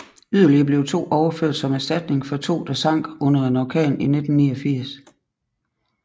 Yderligere to blev overført som erstatning for to der sank under en orkan i 1989